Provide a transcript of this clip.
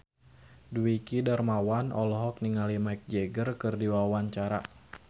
Dwiki Darmawan olohok ningali Mick Jagger keur diwawancara